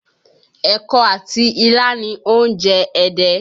Ẹ̀kọ àti ilá ni oúnjẹ Ẹdẹ